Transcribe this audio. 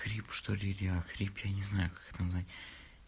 грипп что ли или охрип я не знаю как это назвать